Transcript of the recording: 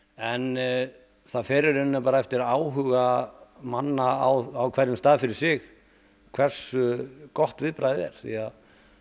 en það fer í rauninni bara eftir áhuga manna á hverjum stað fyrir sig hversu gott viðbragðið er því að